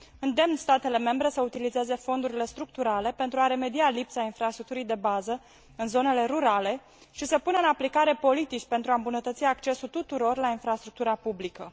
Îndemn statele membre să utilizeze fondurile structurale pentru a remedia lipsa infrastructurii de bază în zonele rurale și să pună în aplicare politici pentru a îmbunătăți accesul tuturor la infrastructura publică.